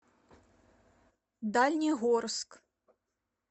дальнегорск